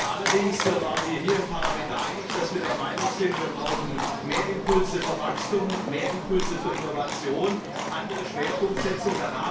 Allerdings waren wir uns hier im Parlament einig, dass wir der Meinung sind, wir brauchen mehr Impulse für Wachstum, mehr Impulse für Innovation, eine andere Schwerpunktsetzung.